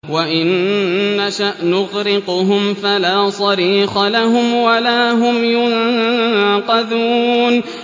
وَإِن نَّشَأْ نُغْرِقْهُمْ فَلَا صَرِيخَ لَهُمْ وَلَا هُمْ يُنقَذُونَ